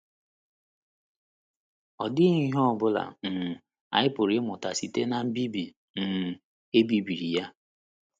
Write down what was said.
Ọ̀ dị ihe ọ bụla um anyị pụrụ ịmụta site ná mbibi um e bibiri ya?